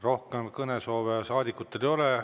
Rohkem kõnesoove saadikutel ei ole.